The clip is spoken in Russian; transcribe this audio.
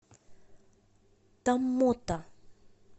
томмота